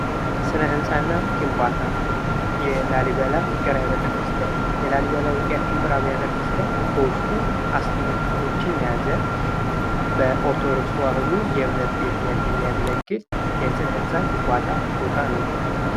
ሥነ ህንፃ እና ግንባታ የላሊበላ ውቅር አብያተ ክርስቲያን በውስጡ 12 ክፍሎችን የያዘ ኦርቶዶክስ ተዋህዶ የእምነት ቤትነት የሚያገለግል የሥነ ሕንፃ ግንባታ ቦታ ነው።